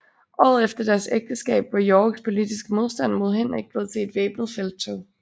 Året efter deres ægteskab var Yorks politiske modstand mod Henrik blevet til et væbnet felttog